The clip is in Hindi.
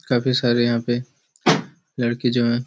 काफी सारे यहाँ पे लड़की जो है।